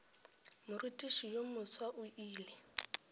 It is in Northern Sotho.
morutiši yo mofsa o ile